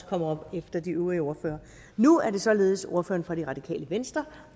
kommer op efter de øvrige ordførere nu er det således ordføreren for det radikale venstre